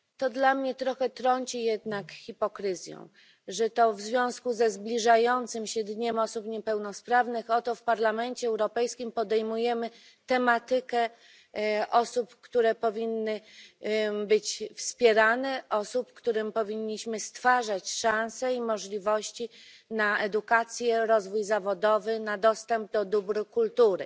Dla mnie trąci to trochę jednak hipokryzją, że oto w związku ze zbliżającym się Dniem Osób Niepełnosprawnych w Parlamencie Europejskim podejmujemy tematykę osób, które powinniśmy wspierać i którym powinniśmy stwarzać szanse i możliwości na edukację, rozwój zawodowy, dostęp do dóbr kultury.